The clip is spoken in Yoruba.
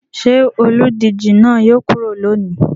Ṣé olùdíje náà yóò kúrò lónìí?